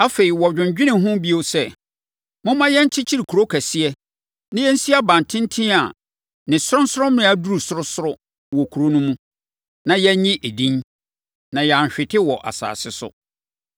Afei, wɔdwennwenee ho bio sɛ, “Momma yɛnkyekyere kuro kɛseɛ, na yɛnsi abantenten a ne sorɔnsorɔmmea duru sorosoro wɔ kuro no mu, na yɛnnye edin, na yɛanhwete wɔ asase so.”